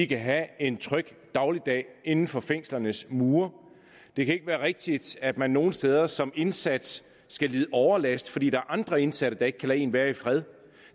kan have en tryg dagligdag inden for fængslernes mure det kan ikke være rigtigt at man nogle steder som indsat skal lide overlast fordi der er andre indsatte der ikke kan lade en være i fred